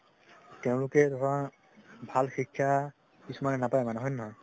তেওঁলোকে ধৰা ভাল শিক্ষা কিছুমানে নাপাই মানে হয় নে নহয়